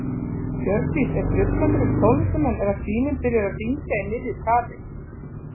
Hjördís: Er truflandi fyrir tónlistarmenn ef að síminn byrjar að hringja í miðju kafi?